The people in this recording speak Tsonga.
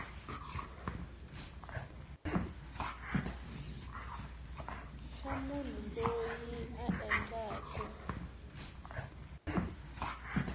xa munhu loyi a endlaku